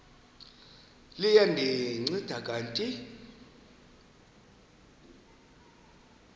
liya ndinceda kanti